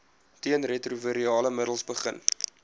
teenretrovirale middels begin